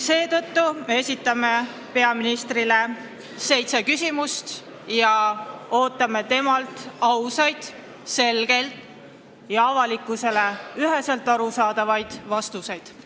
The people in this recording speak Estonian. Seetõttu esitame peaministrile seitse küsimust ja ootame temalt ausaid, selgeid ja avalikkusele üheselt arusaadavaid vastuseid.